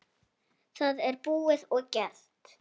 Það er búið og gert!